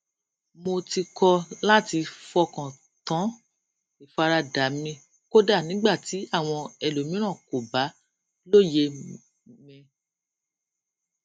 mo ti kọ láti fọkàn tán ìfaradà mi kódà nígbà tí àwọn ẹlòmíràn kò bá lóye mi